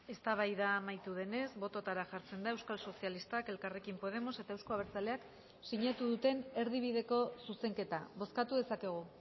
eztabaida amaitu denez bototara jartzen da euskal sozialistak elkarrekin podemos eta euzko abertzaleak sinatu duten erdibideko zuzenketa bozkatu dezakegu